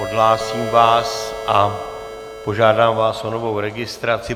Odhlásím vás a požádám vás o novou registraci.